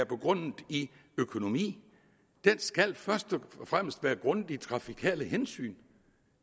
begrundet i økonomi den skal først og fremmest være begrundet i trafikale hensyn